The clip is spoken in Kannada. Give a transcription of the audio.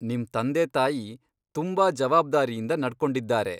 ನಿಮ್ ತಂದೆ ತಾಯಿ ತುಂಬಾ ಜವಾಬ್ದಾರಿಯಿಂದ ನಡ್ಕೊಂಡಿದ್ದಾರೆ.